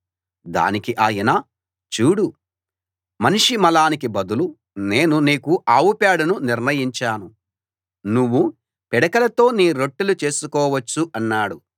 దానికి ఆయన చూడు మనిషి మలానికి బదులు నేను నీకు ఆవు పేడను నిర్ణయించాను నువ్వు పిడకలతో నీ రొట్టెలు చేసుకోవచ్చు అన్నాడు